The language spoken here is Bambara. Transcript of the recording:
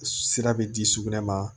Sira bɛ di sugunɛ ma